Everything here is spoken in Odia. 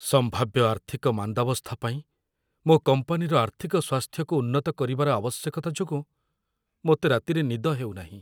ସମ୍ଭାବ୍ୟ ଆର୍ଥିକ ମାନ୍ଦାବସ୍ଥା ପାଇଁ ମୋ କମ୍ପାନୀର ଆର୍ଥିକ ସ୍ୱାସ୍ଥ୍ୟକୁ ଉନ୍ନତ କରିବାର ଆବଶ୍ୟକତା ଯୋଗୁଁ ମୋତେ ରାତିରେ ନିଦ ହେଉନାହିଁ।